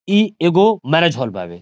इ एगो marriage hall बावे।